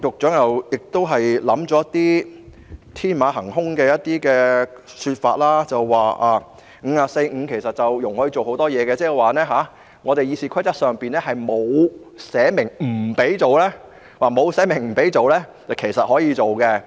當然，局長提出了天馬行空的說法，指《議事規則》第545條容許大家運用很多程序，意味着《議事規則》上沒有寫明不能做的，其實就是可以做。